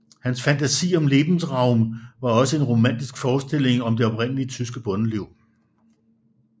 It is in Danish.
Hans fantasi om Lebensraum var også en romantisk forestilling om det oprindelige tyske bondeliv